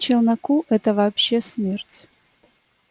челноку это вообще смерть